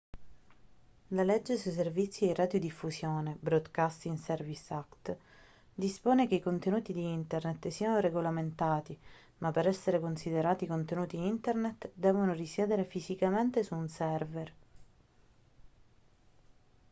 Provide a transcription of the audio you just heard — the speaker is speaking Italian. la legge sui servizi di radiodiffusione broadcasting services act dispone che i contenuti di internet siano regolamentati ma per essere considerati contenuti internet devono risiedere fisicamente su un server